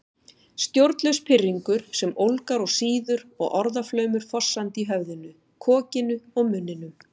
Stjórnlaus pirringur sem ólgar og sýður og orðaflaumur fossandi í höfðinu, kokinu, munninum